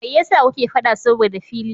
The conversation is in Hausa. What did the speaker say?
Mai yasa kuke faɗa saboda fili?